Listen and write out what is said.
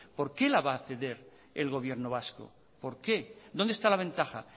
por qué la va a ceder el gobierno vasco por qué dónde está la ventaja